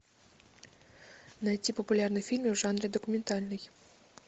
найти популярные фильмы в жанре документальный